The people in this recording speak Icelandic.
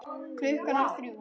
Klukkan var þrjú.